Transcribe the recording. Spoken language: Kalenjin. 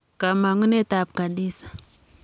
Kamang'unetab Khadiza